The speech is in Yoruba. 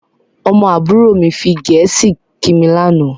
Ọmọ àbúrò mi fi Gẹ̀ẹ́sì kí mi lànà